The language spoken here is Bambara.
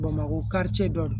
Bamakɔ kari dɔ don